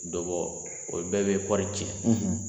Dɔ bɔ o bɛɛ bɛ kɔɔri tiɲɛ